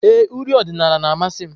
Ee, uri odinala na-amasị m.